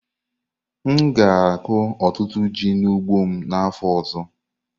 M ga-akụ ọtụtụ ji n'ugbo m n'afọ ọzọ.